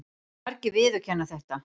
Margir viðurkenna þetta.